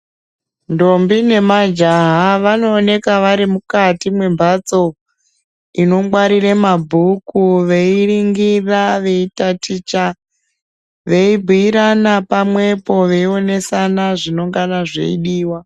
Ntombi nemajaha vanowoneka varimukati membatso, inongwarire mabhuku veyivingira, veyitaticha, veyibiyirana pamwepo veyionesana zvinongana zvoyidiwa.